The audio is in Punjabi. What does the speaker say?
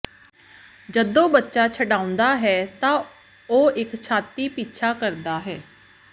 ਜਦੋਂ ਬੱਚਾ ਛਾਉਂਦਾ ਹੈ ਤਾਂ ਉਹ ਇੱਕ ਛਾਤੀ ਪਿੱਛਾ ਕਰਦਾ ਹੈ